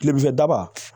Kilefɛ daba